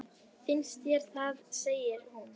Finnst þér það, segir hún.